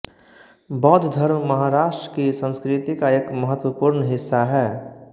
बौद्ध धर्म महाराष्ट्र की संस्कृति का एक महत्वपूर्ण हिस्सा है